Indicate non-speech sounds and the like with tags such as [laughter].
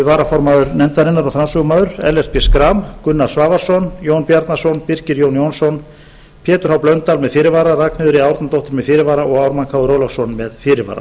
varaformaður nefndarinnar og framsögumaður ellert b [unintelligible] gunnar svavarsson jón bjarnason birkir jón jónsson pétur h blöndal með fyrirvara ragnheiður e árnadóttir með fyrirvara og ármann krónu ólafsson með fyrirvara